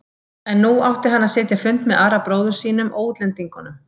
En nú átti hann að sitja fund með Ara bróður sínum og útlendingunum.